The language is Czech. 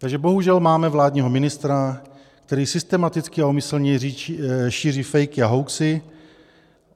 Takže bohužel máme vládního ministra, který systematicky a úmyslně šíří fejky a hoaxy.